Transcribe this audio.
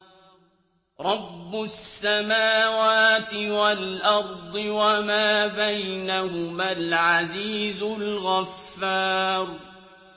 رَبُّ السَّمَاوَاتِ وَالْأَرْضِ وَمَا بَيْنَهُمَا الْعَزِيزُ الْغَفَّارُ